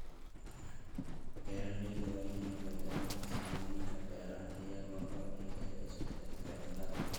Beeraleydu waa inay beddelaan farsamooyinkooda beeraha iyadoo la eegayo isbeddelada cimilada.